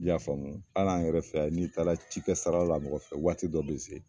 I y'a faamu hali an yɛrɛ fɛ yan n'i taara ci kɛ sara la mɔgɔ fɛ waati dɔ be se